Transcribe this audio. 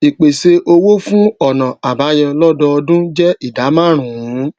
ìpèsè owó fún ònà àbáyọ lódọọdún jé ìdá márùnún